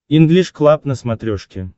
инглиш клаб на смотрешке